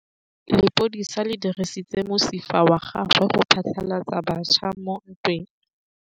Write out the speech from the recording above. Lepodisa le dirisitse mosifa wa gagwe go phatlalatsa batšha mo ntweng.